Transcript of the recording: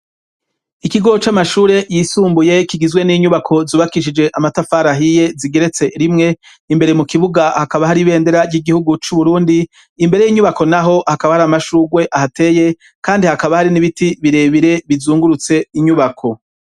Ikigo c'amashure yisumbuye kigizwe n'inyubako zubakishije amatafar ahiye zigeretse rimwe imbere mu kibuga hakaba hari ibendera ry'igihugu c'uburundi imbere y'inyubako naho hakaba hari amashugwe ahateye kandi hakaba hari n'ibiti birebire bizungurutse inyubako.